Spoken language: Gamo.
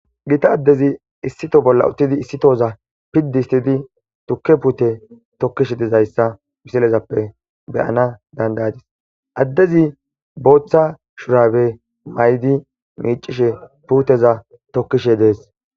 Gita addezi issito bolla uttidi issitoza piddi istidi tukke puute tokkishe dizayssa misilezappe beyana dandayadis addezi booththa shurabe maydi miicishe puuteza tokkishe dees.